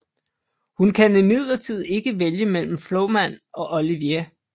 Hun kan imidlertid ikke vælge mellem Flamand og Olivier